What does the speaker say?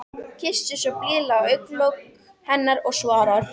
Kyssir svo blíðlega á augnalok hennar og svarar: